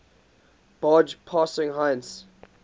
barge passing heinz